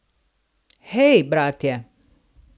Hej, bratje!